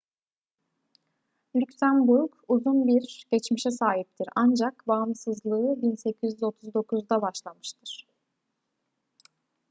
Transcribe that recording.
lüksemburg uzun bir geçmişe sahiptir ancak bağımsızlığı 1839'da başlamıştır